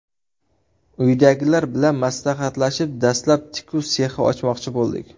Uydagilar bilan maslahatlashib, dastlab tikuv sexi ochmoqchi bo‘ldik.